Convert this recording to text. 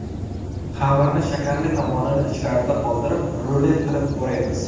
Xamirni shakarli tomonini ichkarida qoldirib, rulet qilib o‘raymiz.